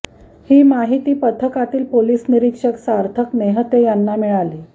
ही माहिती पथकातील पोलिस निरीक्षक सार्थक नेहते यांना मिळाली